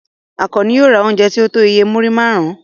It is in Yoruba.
Àkànní yóò ra oúnjẹ tí ó tó iye múrí márùn-ún.